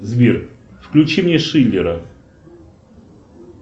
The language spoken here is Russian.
сбер включи мне шиллера